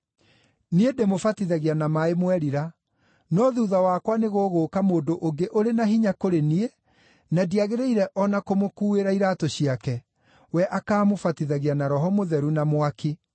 “Niĩ ndĩmũbatithagia na maaĩ mwerira. No thuutha wakwa nĩgũgũũka mũndũ ũngĩ ũrĩ na hinya kũrĩ niĩ, na ndiagĩrĩire o na kũmũkuuĩra iraatũ ciake. We akaamũbatithagia na Roho Mũtheru na mwaki.